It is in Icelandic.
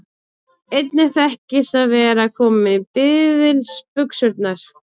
Einnig þekkist að vera kominn í biðilsbuxurnar.